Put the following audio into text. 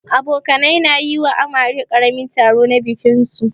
Abokanai na yi wa amare karamin taro na bikin su.